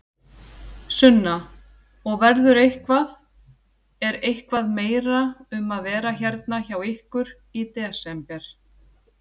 Sunna: Og verður eitthvað, er eitthvað meira um að vera hérna hjá ykkur í desember?